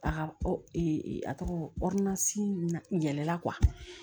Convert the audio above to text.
A ka ee a tɔgɔ yɛlɛla